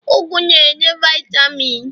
ugu na-enye vaitamin